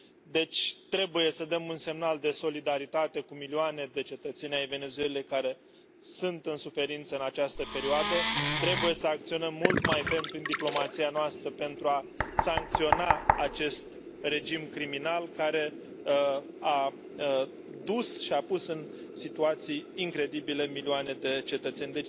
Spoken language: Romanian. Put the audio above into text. Deci trebuie să dăm un semnal de solidaritate cu milioane de cetățeni ai Venezuelei care sunt în suferință în această perioadă, trebuie să acționăm mult mai ferm prin diplomația noastră pentru a sancționa acest regim criminal care a dus și a pus în situații incredibile milioane de cetățeni.